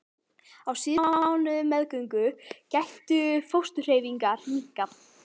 Á síðustu mánuðum meðgöngu gætu fósturhreyfingar minnkað.